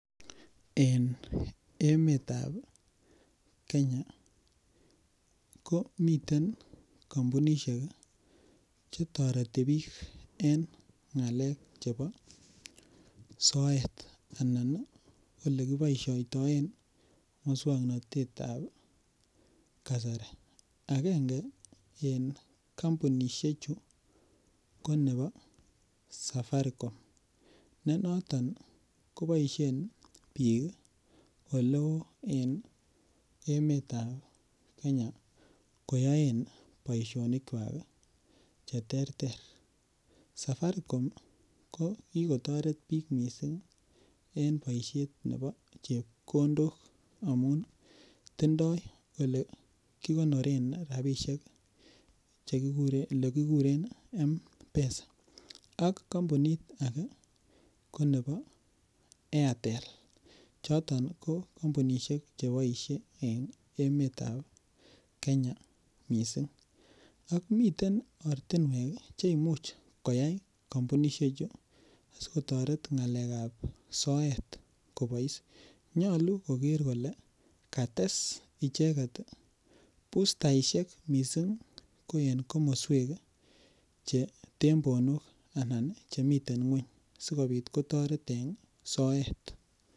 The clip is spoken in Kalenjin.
En emetab Kenya ko miten kampunishek chetoretibbiik en ng'alek chebo soet anan ole kiboishoitoen muswang'natet ab kasari akenge en kampunishe chu ko nebo safaricom ne noton koboishen biik ole oo en emetab kenya koyoen boishonikwak cheterter safaricom ko kikotoret biik mising' en boishet nebo chepkondok amun tindoi ole kikonore rapishek olekikuren mpesa ak kampunit ake ko nebo airtel choton ko kampunishek cheboishen en emetab kenya mising' ak miten ortinwek chemuch koyai kampunishe chu sikotoret ng'alekab soet kobois nyulu koker kole kates icheget bustaishek mising' eng' komoswek che tembonok anan chemiten ng'weny sikobit kotoret en soet